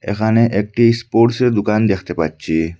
এখানে একটি স্পোর্টসের দোকান দেখতে পাচ্ছি।